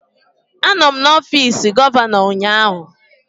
Anọ m n'ọfịs gọvanọ ụnyaahụ.